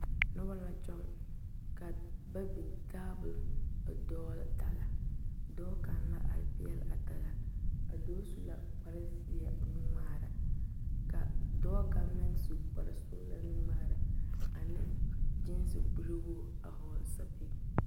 Noba la kyɔŋ ka ba biŋ tabol daga dɔɔ kaŋa la are pegle a daga a dɔɔ su la kpare ziɛ nu ŋmaare ka dɔɔ kaŋ meŋ su kpare sɔglaa nu ŋmaare ane gesi kuri wogi a vɔgle sapele.